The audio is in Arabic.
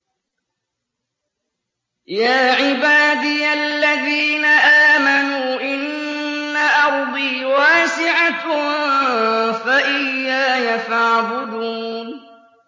يَا عِبَادِيَ الَّذِينَ آمَنُوا إِنَّ أَرْضِي وَاسِعَةٌ فَإِيَّايَ فَاعْبُدُونِ